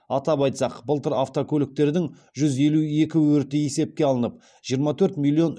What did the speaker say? атап айтсақ былтыр автокөліктердің жүз елу екі өрті есепке алынып жиырма төрт миллион